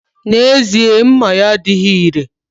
N'ezie, mma ya adighi ire